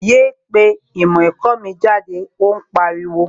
Yéé pé ìmọ̀ ẹ̀kọ́ mi jáde, ó pariwo!